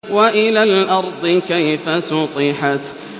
وَإِلَى الْأَرْضِ كَيْفَ سُطِحَتْ